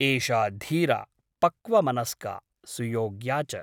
एषा धीरा , पक्वमनस्का , सुयोग्या च ।